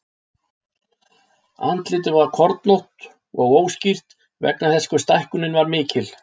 Andlitið var kornótt og óskýrt vegna þess hve stækkunin var mikil.